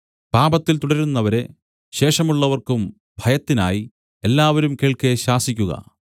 പാപത്തിൽ തുടരുന്നവരെ ശേഷമുള്ളവർക്കും ഭയത്തിനായി എല്ലാവരും കേൾക്കെ ശാസിക്കുക